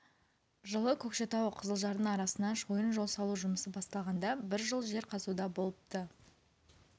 жылы көкшетау қызылжардың арасына шойын жол салу жұмысы басталғанда бір жыл жер қазуда болыпты